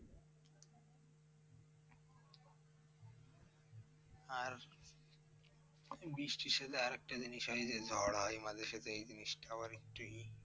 আর বৃষ্টির সাথে আর একটা জিনিস হয় যে, ঝড় হয় মাঝে সাঝে এই জিনিসটাও আবার একটু ই।